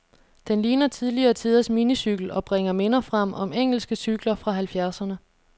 Den ligner tidligere tiders minicykel, og bringer minder frem om engelske cykler fra halvfjerdserne.